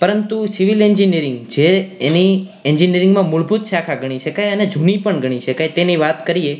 પરંતુ civil engineering જે એની engineering માં મૂળભૂત શાખા ગણી શકાય અને જૂની પણ ગણી શકાય તેની વાત કરીએ